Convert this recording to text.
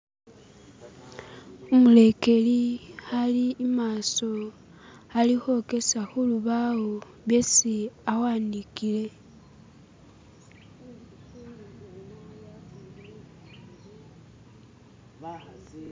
Umulekeli ali imaaso alikhwokesa khulubaawo byesi awandikile.